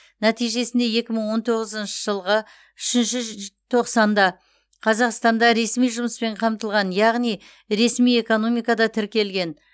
нәтижесінде екі мың он тоғызыншы жылғы үшінші тоқсанда қазақстанда ресми жұмыспен қамтылған яғни ресми экономикада тіркелген